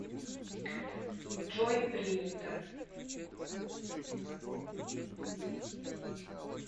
джой принято